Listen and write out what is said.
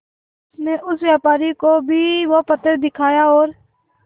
उनसे उस व्यापारी को भी वो पत्थर दिखाया और